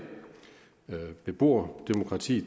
beboerdemokrati